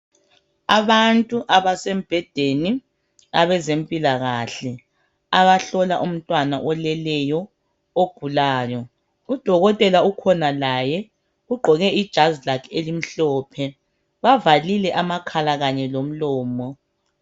Abantu abasembhedeni abezempilakahle abahlola umntwana oleleyo ogulayo udokotela ukhona laye ugqoke ijazi lakhe elimhlophe bavalile amakhala Kanye lomlomo.